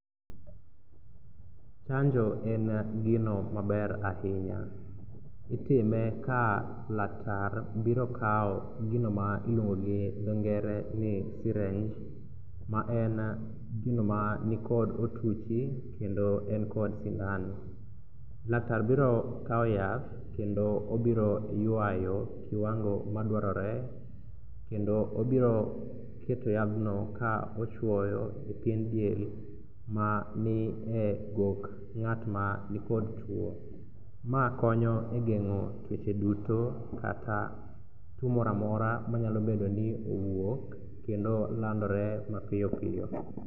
Chanjo en gino maber ahinya, itime ka laktar biro kawo gino ma iluongo gi dho ngere ni syringe maen gino manikod otuchi kendo en kod sindan. Laktar biro kawo yath kendo obiro ywayo kiwango madwarore kendo obiro keto yadhno ka ochwoyo e pien del manie gok ng'atma nikod tuo. Ma konyo e geng'o tuoche duto kaka tuo moro amora manyalo bedo ni owuok kendo landore mapiyopiyo.